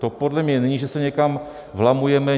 To podle mě není, že se někam vlamujeme.